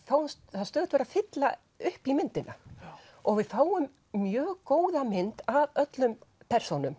það er stöðugt verið að fylla upp í myndina og við fáum mjög góða mynd af öllum persónum